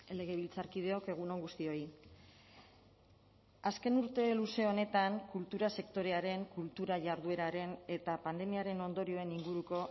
legebiltzarkideok egun on guztioi azken urte luze honetan kultura sektorearen kultura jardueraren eta pandemiaren ondorioen inguruko